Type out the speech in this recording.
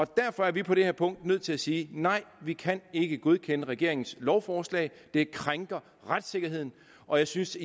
derfor er vi på det her punkt nødt til at sige nej vi kan ikke godkende regeringens lovforslag det krænker retssikkerheden og jeg synes